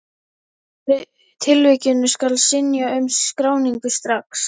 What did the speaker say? Í síðari tilvikinu skal synja um skráningu strax.